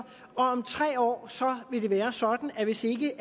om tre år vil det være sådan at hvis ikke